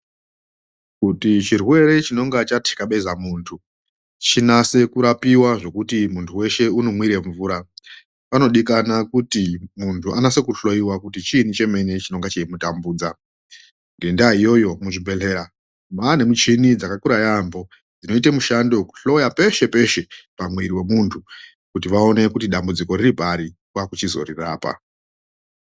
Kuti chirwre chinonga chatikabeza muntu chinase kurapiwe zvekuti muntu wese unomwira mvura panodikana kuti muntu anase kuhloyiwa kuti chinyi chemene chinonga chichimutambudza ngenda iyoyo muzvibhehlera mwaane michini dzakakura yamho dzinoita mushando wekuhloya peshe-peshe kuti vaone kuti dambudziko riripari kwakuzorirapa.